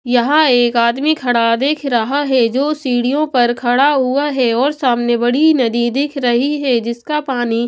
यहां एक आदमी खड़ा देख रहा है जो सीढ़ियों पर खड़ा हुआ हैऔर सामने बड़ी नदी दिख रही है जिसका पानी--